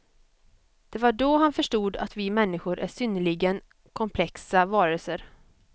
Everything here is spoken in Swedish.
Det var då han förstod att vi människor är synnerligen komplexa varelser.